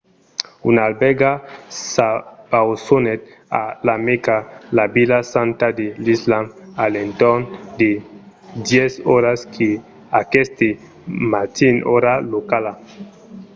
una albèrga s'abausonèt a la mèca la vila santa de l’islam a l'entorn de 10 oras aqueste matin ora locala